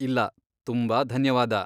ಇಲ್ಲ, ತುಂಬಾ ಧನ್ಯವಾದ.